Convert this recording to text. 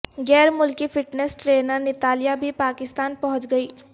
غیر ملکی fitness trainer Natalia بھی پاکستان پہنچ گئیں